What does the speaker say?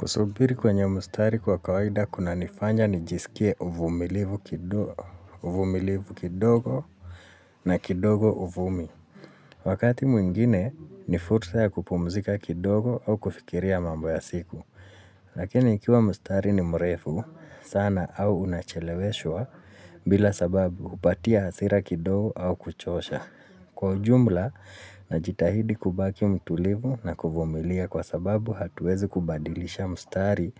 Kusubiri kwenye mstari kwa kawaida kunanifanya nijisikie uvumilivu kidogo na kidogo uvumi. Wakati mwingine, ni fulsa ya kupumzika kidogo au kufikiria mambo ya siku. Lakini ikiwa mstari ni mrefu sana au unacheleweshwa bila sababu hupatia hasira kidogo au kuchosha. Kwa ujumla, najitahidi kubaki mtulivu na kuvumilia kwa sababu hatuwezi kubadilisha mstari